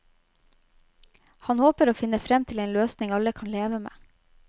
Han håper å finne frem til en løsning alle kan leve med.